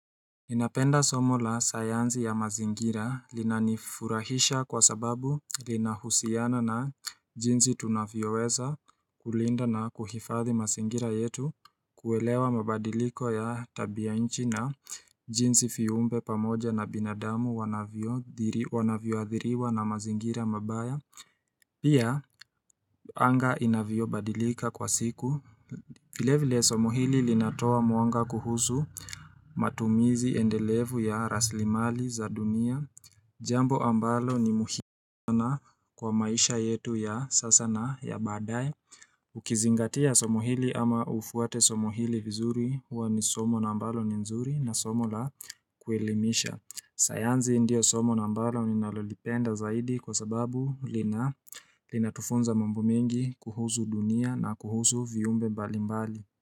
Ninapenda somo la sayansi ya mazingira linanifurahisha kwa sababu linahusiana na jinsi tunavyoweza kulinda na kuhifadhi mazingira yetu kuelewa mabadiliko ya tabia nchi na jinzi viumbe pamoja na binadamu wanavyoadhiriwa na mazingira mabaya Pia anga inavyobadilika kwa siku vile vile somo hili linatoa mwanga kuhusu matumizi endelevu ya raslimali za dunia Jambo ambalo ni muhiumu sana kwa maisha yetu ya sasa na ya baadae Ukizingatia somo hili ama ufuate somo hili vizuri huwa ni somo na ambalo ni nzuri na somo la kuelimisha sayansi ndio somo na ambalo ninalolipenda zaidi Kwa sababu lina linatufunza mambo mengi kuhusu dunia na kuhusu viumbe mbalimbali.